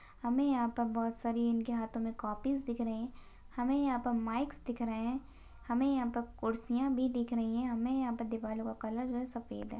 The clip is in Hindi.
हमे यहाँ पर बहुत सारी इनके हाथो मे कॉपीज दिख रहे हमे यहाँ पर माइक्स दिख रहे हमे यहाँ पर कुर्सिया भी दिख रही है हमे यहाँ पर दीवालों का कलर जो है सफ़ेद है।